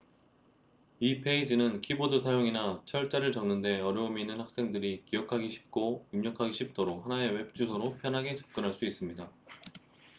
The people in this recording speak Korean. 이 페이지는 키보드 사용이나 철자를 적는 데 어려움이 있는 학생들이 기억하기 쉽고 입력하기 쉽도록 하나의 웹 주소로 편하게 접근할 수 있습니다